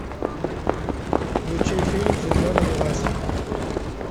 включи фильм звезда родилась